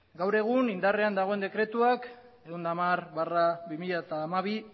gaur egun indarrean dagoen dekretuak ehun eta hamar barra bi mila hamabi